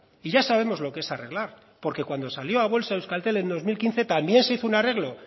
y ya sabemos lo que es arreglar porque cuando salió a bolsa euskaltel en dos mil quince también se hizo un arreglo